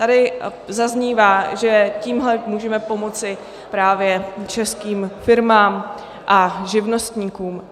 Tady zaznívá, že tímhle můžeme pomoci právě českým firmám a živnostníkům.